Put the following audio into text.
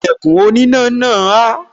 Ìlẹ̀kùn oníná náà há